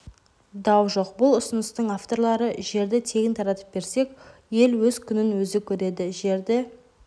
дау жоқ бұл ұсыныстың авторлары жерді тегін таратып берсек ел өз күнін өзі көреді жерді